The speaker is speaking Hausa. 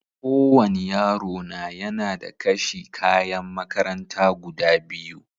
Ko wani yaro na yana da kashi kayan makaranta guda biyu.